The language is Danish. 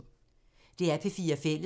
DR P4 Fælles